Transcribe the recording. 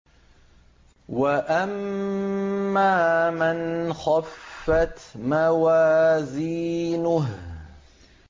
وَأَمَّا مَنْ خَفَّتْ مَوَازِينُهُ